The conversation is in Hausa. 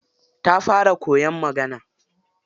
Ta fara koyan magana.